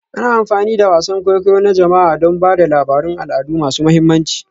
Ana amfani da wasan kwaikwayo na jama'a don ba da labarun al'adu masu mahimmanci